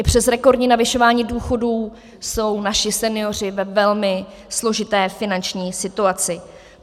I přes rekordní navyšování důchodů jsou naši senioři ve velmi složité finanční situaci.